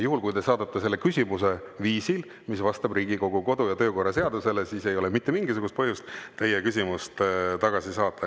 Juhul kui te esitate selle küsimuse viisil, mis vastab Riigikogu kodu‑ ja töökorra seadusele, siis ei ole mitte mingisugust põhjust teie küsimust tagasi saata.